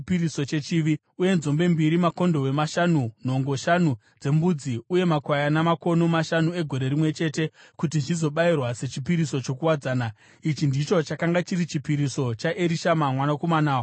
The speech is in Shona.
uye nzombe mbiri, makondobwe mashanu, nhongo shanu dzembudzi uye makwayana makono mashanu egore rimwe chete, kuti zvizobayirwa sechipiriso chokuwadzana. Ichi ndicho chakanga chiri chipiriso chaErishama mwanakomana waAmihudhi.